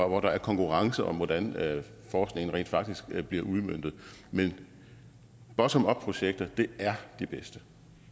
og hvor der er konkurrence om hvordan forskningen rent faktisk bliver udmøntet men bottom up projekter er det bedste